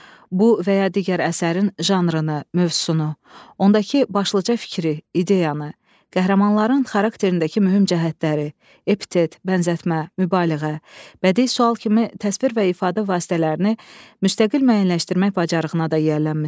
Bu və ya digər əsərin janrını, mövzusunu, ondakı başlıca fikri, ideyanı, qəhrəmanların xarakterindəki mühüm cəhətləri, epitet, bənzətmə, mübaliğə, bədii sual kimi təsvir və ifadə vasitələrini müstəqil müəyyənləşdirmək bacarığına da yiyələnmisiniz.